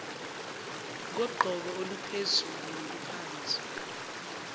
kogqoko oluphezulu noluphansi